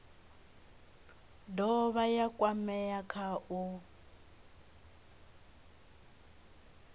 dovha ya kwamea kha u